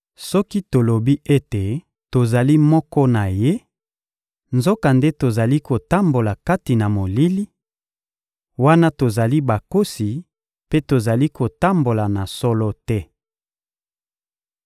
Soki tolobi ete tozali moko na Ye, nzokande tozali kotambola kati na molili, wana tozali bakosi mpe tozali kotambola na solo te.